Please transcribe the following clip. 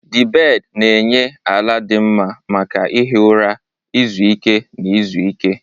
The bed na-enye ala dị mma maka ihi ụra, izu ike, na izu ike.